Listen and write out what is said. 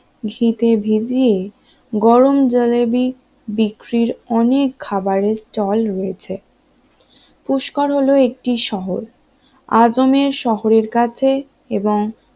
ঘি তে ভিজিয়ে গরম জিলাবি বিক্রির অনেক খাবারের স্টল রয়েছে পুস্করের হলো একটি শহর আজমের শহরের কাছে এবং